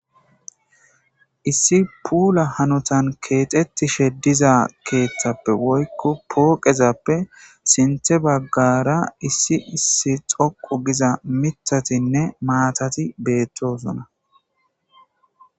issi puula hanotan keexettishe diza keeththappe woykko pooqezappe sinthe baggara issi issi xoqu giza mitatinne maatati beettosona